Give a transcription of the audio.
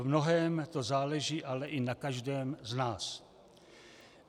V mnohém to záleží ale i na každém z nás.